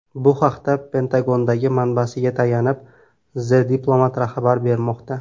Bu haqda Pentagondagi manbasiga tayanib, The Diplomat xabar bermoqda .